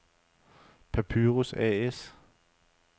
Papyrus A/S